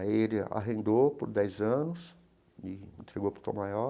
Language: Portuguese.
Aí ele arrendou por dez anos e entregou para o Tom Maior.